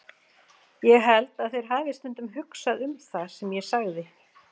Ég held að þeir hafi stundum hugsað um það sem ég sagði.